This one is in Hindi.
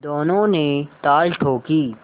दोनों ने ताल ठोंकी